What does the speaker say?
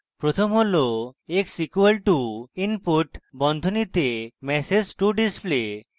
প্রথম x = input বন্ধনীতে message to display